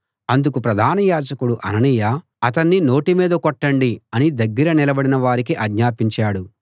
అందుకు ప్రధాన యాజకుడు అననీయ అతన్ని నోటి మీద కొట్టండి అని దగ్గర నిలబడిన వారికి ఆజ్ఞాపించాడు